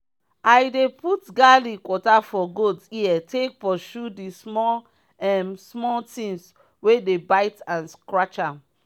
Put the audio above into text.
i dey puut garlic water for goat ear take pursue di small um small tins wey dey bite and scratch am.